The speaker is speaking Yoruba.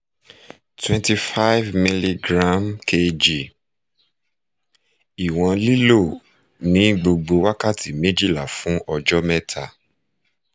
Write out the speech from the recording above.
twenty five milligram kg iwọn lilo ni gbogbo wakati mejila fun ọjọ mẹta